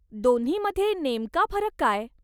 दोन्हीमध्ये नेमका फरक काय?